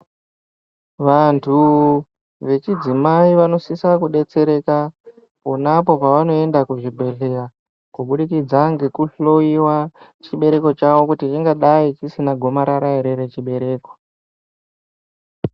Vantu vechidzimai vanosisa kudetsereka ponapo pavanoenda kuzvibhedhleya kubudikidza ngekuhloiwa chibereko chavo kuti chingadai chisina gomarara here rechibereko.